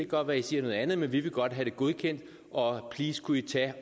godt være i siger noget andet men det vi godt have godkendt og please kunne i tage